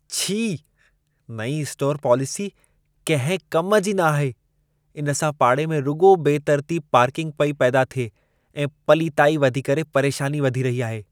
छी! नईं स्टोरु पॉलिसी कंहिं कम जी न आहे। इन सां पाड़े में रुॻो बेतरतीब पार्किंग पेई पैदा थिए ऐं पलीताई वधी करे परेशानी वधी रही आहे।